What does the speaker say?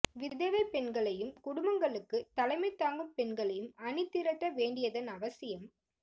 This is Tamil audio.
விதவைப் பெண்களையும் குடும்பங்களுக்குத் தலைமை தாங்கும் பெண்களையும் அணி திரட்ட வேண்டியதன் அவசியம்